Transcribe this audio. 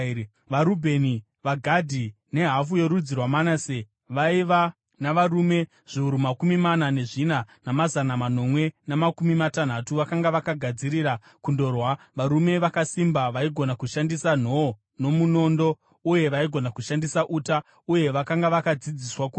VaRubheni, vaGadhi nehafu yorudzi rwaManase vaiva navarume zviuru makumi mana nezvina namazana manomwe namakumi matanhatu vakanga vakagadzirira kundorwa, varume vakasimba vaigona kushandisa nhoo nomunondo, uye vaigona kushandisa uta, uye vakanga vakadzidziswa kurwa.